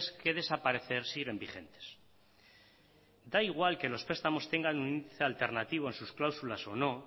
que desaparecer siguen vigentes da igual que los prestamos tengan un índice alternativo en sus cláusulas o no